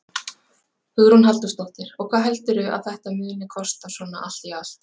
Hugrún Halldórsdóttir: Og hvað heldurðu að þetta muni kosta svona allt í allt?